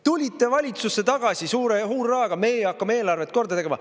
Tulite valitsusse tagasi suure hurraaga: meie hakkame eelarvet korda tegema.